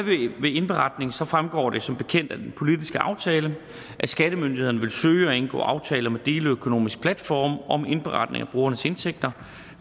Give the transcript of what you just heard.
ved indberetning så fremgår det som bekendt af den politiske aftale at skattemyndighederne vil søge at indgå aftaler med deleøkonomiske platforme om indberetning af brugernes indtægter